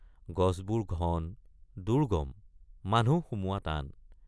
গছবোৰ ঘন দুৰ্গম মানুহ সোমোৱা টান।